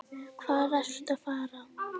Hvað ertu að fara?